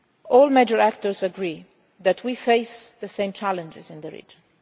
is ready. All the major stakeholders agree that we face the same challenges in the